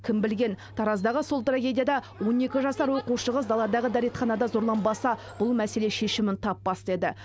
кім білген тараздағы сол трагедияда он екі жасар оқушы қыз даладағы дәретханада зорланбаса бұл мәселе шешімін таппас та еді